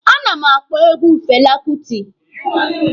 A na m akpọ egwu Fela Kuti.